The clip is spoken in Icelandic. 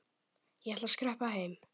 Ég ætla að skreppa heim.